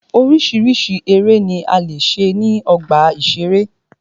Oríṣiríṣi eré ni a lè ṣe ní ọgbà ìṣeré.